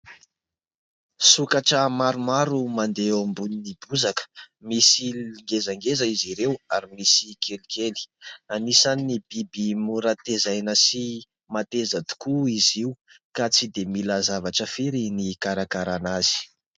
Sokatra maromaro mandeha eo ambonin'ny bozaka, misy ngezangeza izy ireo ary misy kelikely. Anisany biby mora tezaina sy mateza tokoa izy io ka tsy dia mila Zavatra firy ny ikarakarana azy.